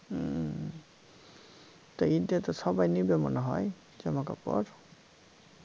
হম তা ইদ টা তো সবাই নিবে মনে হয় জামা কাপড়